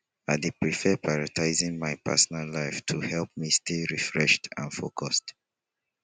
i dey prefer prioritizing my personal life to help me stay refreshed and focused